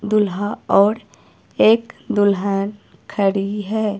दूल्हा और एक दुल्हन खड़ी है।